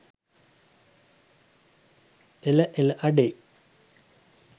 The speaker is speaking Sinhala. එල එල අඩේ